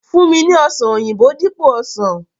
Fun mi ni ọsan oyinbo dipo osan!